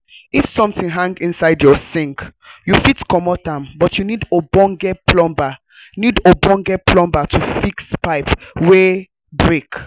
if something hang inside your sink you fit comot am but you need ogbonge plumber need ogbonge plumber to fix pipe wey um break